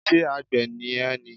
Ṣé àgbẹ̀ ni ẹ́ ni?